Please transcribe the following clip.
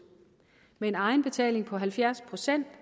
med en egenbetaling på halvfjerds procent